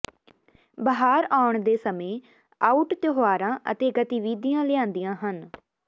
ਬਹਾਰ ਆਉਣ ਦੇ ਸਮੇਂ ਆਊਟ ਤਿਉਹਾਰਾਂ ਅਤੇ ਗਤੀਵਿਧੀਆਂ ਲਿਆਂਦੀਆਂ ਹਨ